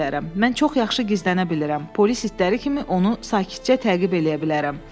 Mən çox yaxşı gizlənə bilirəm, polis itləri kimi onu sakitcə təqib eləyə bilərəm.